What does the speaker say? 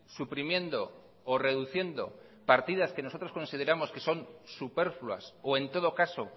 suprimiendo o reduciendo partidas que nosotros consideramos que son superfluas o en todo caso